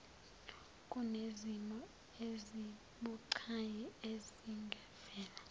kunezimo ezibucayi ezingavela